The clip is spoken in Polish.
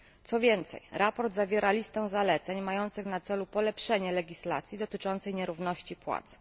Co więcej, sprawozdanie zawiera listę zaleceń mających na celu polepszenie legislacji dotyczącej nierówności płac.